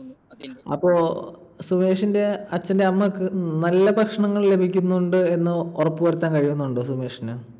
അപ്പൊ സുമേഷിന്റെ അച്ഛന്റെ അമ്മക്ക് നല്ല ഭക്ഷണങ്ങൾ ലഭിക്കുന്നുണ്ട് എന്ന് ഉറപ്പുവരുത്താൻ കഴിയുന്നുണ്ടോ സുമേഷിന്?